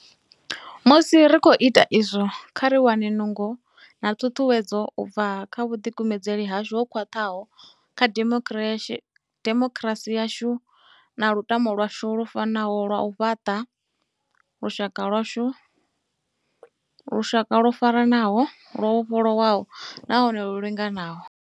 Musi ri khou ita izwo, kha ri wane nungo na ṱhuṱhuwedzo u bva kha vhuḓikumedzeli hashu ho khwaṱhaho kha dimokirasi yashu na lutamo lwashu lu fanaho lwa u fhaṱa lushaka lwo faranaho, lwo vhofholowaho nahone lu linganaho.